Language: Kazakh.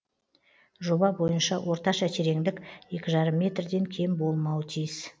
жоба бойынша орташа тереңдік екі жарым метрден кем болмауы тиіс